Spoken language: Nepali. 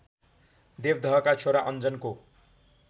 देवदहका छोरा अन्जनको